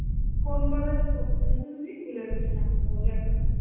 কোন college এ পড়তে যেন তুমি? ভুলে গেছি নামটা বলো একবার.